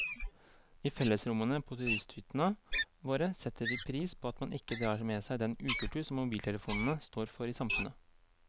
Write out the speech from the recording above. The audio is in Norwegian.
I fellesrommene på turisthyttene våre setter vi pris på at man ikke drar med seg den ukultur som mobiltelefonene står for i samfunnet.